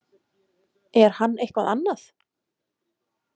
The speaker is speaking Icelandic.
Er hann eitthvað annað?